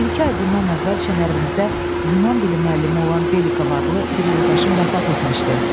Bir-iki ay bundan əvvəl şəhərimizdə Yunan dili müəllimi olan Belikov adlı bir yoldaşın vəfat etmişdi.